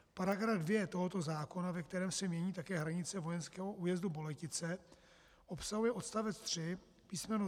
Paragraf 2 tohoto zákona, ve kterém se mění také hranice vojenského újezdu Boletice, obsahuje odstavec 3 písm.